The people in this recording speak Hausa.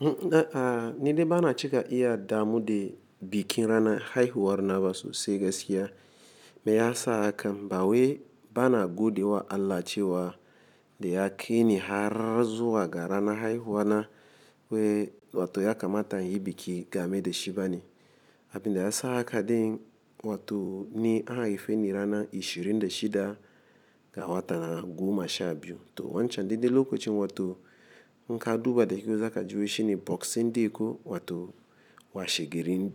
A'a, ni de bana cika iya damu de bikin rana haihuwar na ba sosai gaskiya. Me ya sa haka? Ba we bana godewa Allah cewa de ya kaini har zuwa ga rana haihuwa na we wato ya kamata in yi biki game da shi bane. Abin da ya sa haka din wato ni an haife ni ranan ishirin da shida ga watan Goma sha biyu. To wancan duk dai lokacin wato in ka duba da kyau za ka ji wai shine boksin day ko wato washe garin